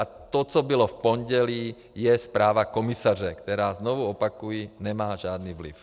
A to, co bylo v pondělí, je zpráva komisaře, která, znovu opakuji, nemá žádný vliv.